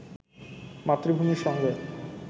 মাতৃভূমির সঙ্গে